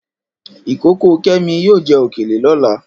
Ìkókó Kẹ́mi yóò jẹ òkèlè lọ́la.